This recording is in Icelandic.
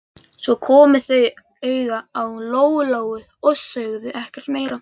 Svo komu þau auga á Lóu-Lóu og sögðu ekkert meira.